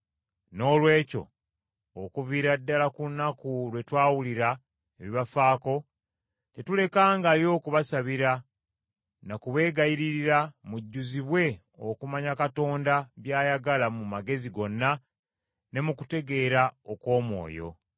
Noolwekyo, okuviira ddala ku lunaku lwe twawulira ebibafaako, tetulekangayo kubasabira na kubeegayiririra mujjuzibwe okumanya Katonda by’ayagala mu magezi gonna ne mu kutegeera okw’omwoyo.